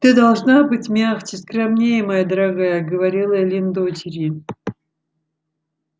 ты должна быть мягче скромнее моя дорогая говорила эллин дочери